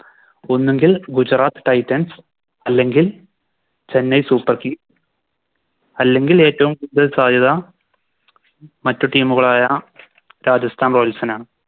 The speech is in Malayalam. ഒന്നുങ്കിൽ Gujarat titans അല്ലെങ്കിൽ Chennai super kings അല്ലെങ്കിൽ ഏറ്റോം കൂടുതൽ സാധ്യത മറ്റു Team കളായ Rajastan royals നാണ്